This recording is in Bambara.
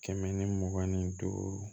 Kɛmɛ ni mugan ni duuru